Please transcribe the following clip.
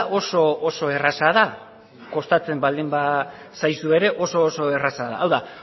oso oso erraza da kostatzen baldin bazaizu ere oso oso erraza da hau da